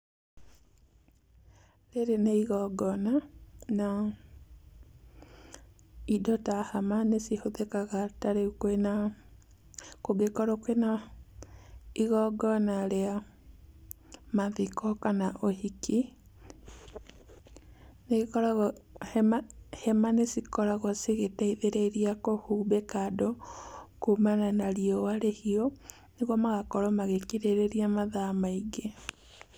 Rĩrĩ nĩ igongona, na indo ta hama nĩcihũthĩkaga ta rĩu kwĩna, kũngĩkorwo kwĩna igongona rĩa mathiko kana ũhiki, nĩĩkoragwo, hema hema nĩcikoragwo cigĩteithĩrĩria kũhumbĩka andũ kuumana na riũa rĩhiũ nĩguo magakorwo magĩkirĩrĩria mathaa maingĩ.